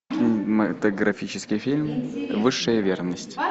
кинематографический фильм высшая верность